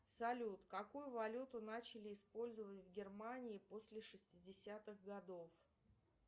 салют какую валюту начали использовать в германии после шестидесятых годов